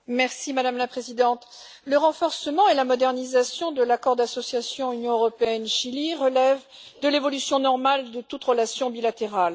Madame la Présidente, le renforcement et la modernisation de l'accord d'association Union européenne Chili relève de l'évolution normale de toute relation bilatérale.